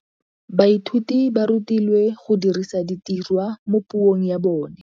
Baithuti ba rutilwe go dirisa tirwa mo puong ya bone.